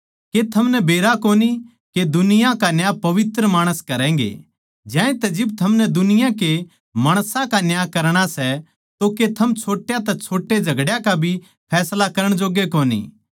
के थमनै बेरा कोनी के दुनिया का न्याय पवित्र माणस करैंगें ज्यांतै जिब थमनै दुनिया के माणसां का न्याय करणा सै तो के थम छोट्या तै छोटे झगड्या का भी फैसला करण जोग्गे कोनी